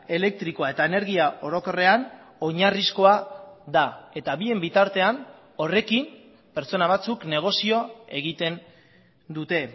elektrikoa eta energia orokorrean oinarrizkoa da eta bien bitartean horrekin pertsona batzuk negozio egiten dute